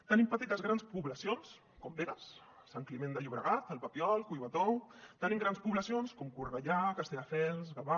tenim petites grans poblacions com begues sant climent de llobregat el papiol collbató tenim grans poblacions com cornellà castelldefels gavà